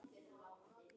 Hann er á lausu.